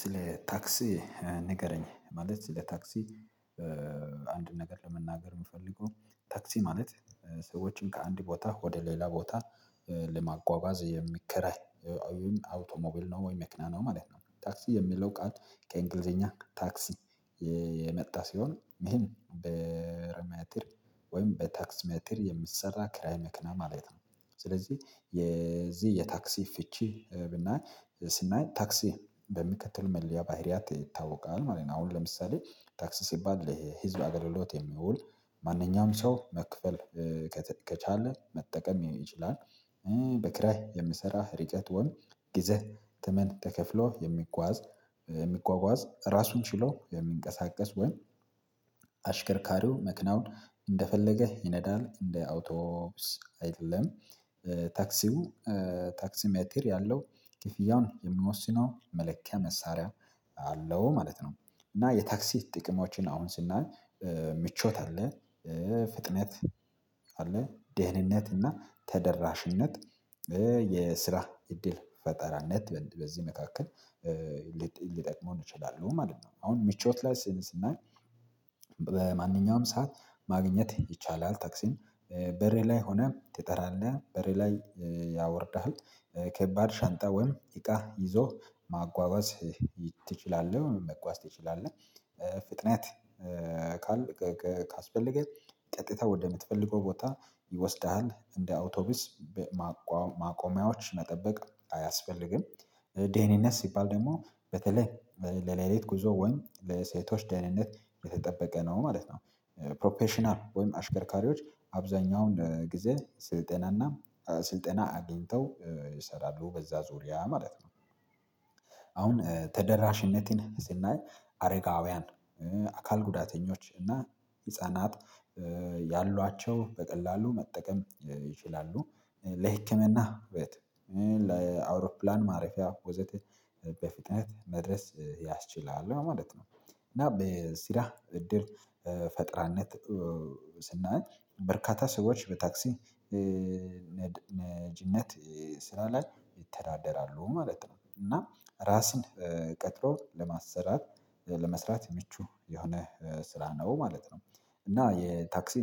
ስለ ታክሲ ንገረኝ ማለት ስለ ታክሲ አንድ ነገር ለመናገር የምፈልገው ታክሲ ማለት ሰዎችን ከአንድ ቦታ ወደ ሌላ ቦታ ለማጓጓዝ የሚከራይ ነው ወይ መክና ነው ማለት ነው። ታክሲ የሚለው ቃል ከእንግሊዘኛ ታክሲ የመጣ ሲሆን ይሄን በረመትር ወይም በታክስ መትር የምትሰራ ክራይ መክና ማለት ነው። ስለዚህ የዚህ የታክሲ ፍቺ ብናይ ስናይ ታክሲ በሚከተሉ መለያ ባህሪያት ይታወቃል ማለት ነው። አሁን ለምሳሌ ታክስ ሲባል ለህዝብ አገልግሎት የሚውል ማንኛውም ሰው መክፈል ከቻለ መጠቀም ይችላል። በክራይ የምሰራ ርቀት ወንድ ጊዜ ተመን ተከፍሎ የሚጓዝ የሚጓጓዝ ራሱን ችሎ የሚንቀሳቀስ ወይም አሽከርካሪው ምክንያቱም እንደፈለገህ ይነዳል እንደ አውቶብስ አይደለም። ታክሲ ሜቴር ያለው ክፍያውን የምንወስነው መለኪያ መሳሪያ አለው ማለት ነው። እና የታክሲ ጥቅሞችን አሁን ስናይ ምቾት አለ ፍጥነት አለ ደህንነት እና ተደራሽነት የስራ እድል ፈጠራነት በዚህ መካከል ሊጠቅመው እችላለሁ ማለት ነው። አሁን ሚቾት ላይ ስንል ስናይ በማንኛውም ሰዓት ማግኘት ይቻላል። ተክሲን በሬ ላይ ሆነህ ትጠራለህ በሬ ላይ ያወርድሃል ከባድ ሻንጣ ወይም እቃ ይዞህ ማጓጓዝ ትችላለህ። መጓዝ ትችላለህ ፍጥነት ካልክ ካስፈለገን ቀጥታ ወደምትፈልገው ቦታ ይወስድሃል እንደ አውቶቡስ ማቆሚያዎች መጠበቅ አያስፈልግም። ደህንነት ሲባል ደግሞ በተለይ ለሌሊት ጉዞ ወንድ ለሴቶች ደህንነት የተጠበቀ ነው ማለት ነው። ፕሮፌሽናል ወይም አሽከርካሪዎች አብዛኛውን ጊዜ ስልጠናና ስልጠና አግኝተው ይሰራሉ በዛ ዙሪያ ማለት ነው። አሁን ተደራሽነቴን ስናይ አረጋውያን አካል ጉዳተኞች እና ህፃናት ያሏቸው በቀላሉ መጠቀም ይችላሉ። ለህክምና ውበት ለአውሮፕላን ማረፊያ ወዘተ በፍጥነት መድረስ ያስችላል ማለት ነው። እና በሲራ እድር ፈጥራነት ስናይ በርካታ ሰዎች በታክሲ ልጅነት ስራ ላይ ይተዳደራሉ ማለት ነው። እና ራስን ቀጥሮ ለማሰራት ለመስራት ምቹ የሆነ ስራ ነው ማለት ነው። እና የታክሲ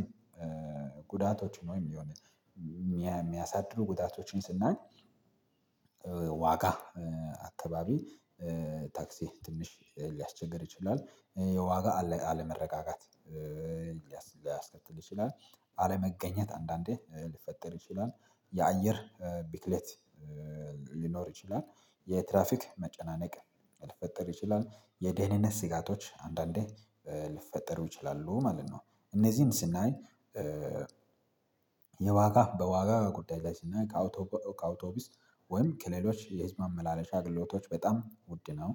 ጉዳቶች ነው የሚሆነው። የሚያሳድዱ ጉዳቶችን ስናይ ዋጋ አካባቢ ታክሲ ትንሽ ሊያስቸግር ይችላል። የዋጋ አለመረጋጋት ሊያስከትል ይችላል። አለመገኘት አንዳንዴ ሊፈጠር ይችላል። የአየር ቢክሌት ሊኖር ይችላል። የትራፊክ መጨናነቅ ሊፈጥር ይችላል የደህንነት ስጋቶች አንዳንዴ ልትፈጠሩ ይችላሉ ማለት ነው። እነዚህን ስናይ የዋጋ በዋጋ ጉዳይ ላይ ስናይ ከአወቶቡ ከአውቶቢስ ወይም ከሌሎች የህዝብ አመላለሻ ግሎቶች በጣም ውድ ነው።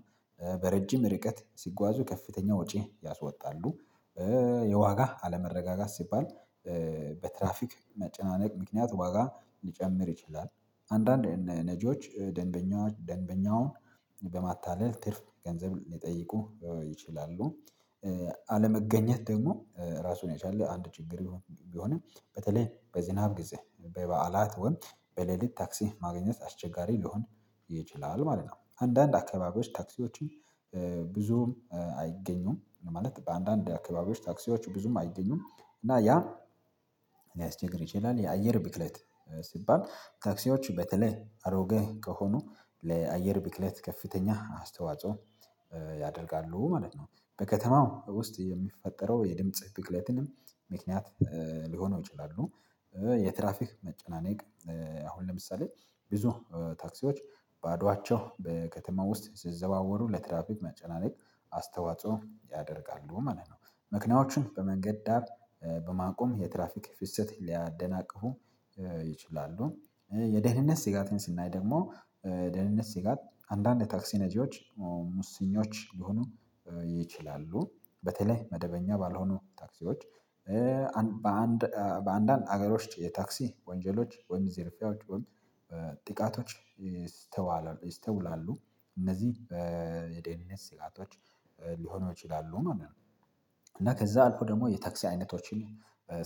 በረጅም ርቀት ሲጓዙ ከፍተኛ ወጪ ያወጣሉ። የዋጋ አለመረጋጋት ሲባል በትራፊክ መጨናነቅ ምክንያት ዋጋ ሊጨምር ይችላል። አንዳንድ ነጂዎች ደንበኛ ደንበኛውን በማታለል ትርፍ ገንዘብ ሊጠይቁ ይችላሉ። አለመገኘት ደግሞ ራሱን ያቻለ አንድ ችግር ይሁን ቢሆንም በተለይ በዝናብ ጊዜ በበዓላት ወይም በሌሊት ታክሲ ማግኘት አስቸጋሪ ሊሆን ይችላል ማለት ነው። አንዳንድ አካባቢዎች ታክሲዎችን ብዙም አይገኙም ማለት በአንዳንድ አካባቢዎች ታክሲዎች ብዙም አይገኙም። እና ያ ሊያስቸግር ይችላል። የአየር ብክለት ሲባል ታክሲዎች በተለይ አሮጌ ከሆኑ ለአየር ቢክለት ከፍተኛ አስተዋጽኦ ያደርጋሉ ማለት ነው። በከተማው ውስጥ የሚፈጠረው የድምጽ ቅለትንም ምክንያት ሊሆነው ይችላሉ። የትራፊክ መጨናነቅ አሁን ለምሳሌ ብዙ ታክሲዎች በአድዋቸው በከተማው ውስጥ ሲዘዋወሩ ለትራፊክ መጨናነቅ አስተዋጽኦ ያደርጋሉ ማለት ነው። ምክንያቶቹም በመንገድ ዳር በማቆም የትራፊክ ፍሰት ሊያደናቅፉ ይችላሉ። የደህንነት ስጋትን ስናይ ደግሞ ደህንነት ስጋት አንዳንድ ታክሲ ነጂዎች ሙሰኞች ሊሆኑ ይችላሉ። በተለይ መደበኛ ባልሆኑ ታክሲዎች። በአንድ በአንዳንድ ሀገሮች የታክሲ ወንጀሎች ወይም ዜርፊያዎች ወይም ጥቃቶች ይስተዋሉ ይስተውላሉ። እነዚህ በደንብ ስጋቶች ሊሆኑ ይችላሉ። እና ከዛ አልኩ ደግሞ የታክሲ አይነቶችን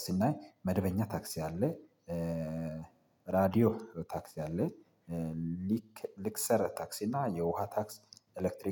ስናይ መደበኛ ታክሲ አለ። ራዲዮ ታክሲ አለ። ልክ ልክሰረ ታክሲ እና የውሃ ታክስ ኤሌክትሪክ